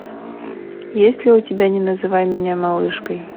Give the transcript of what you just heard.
есть ли у тебя не называй меня малышкой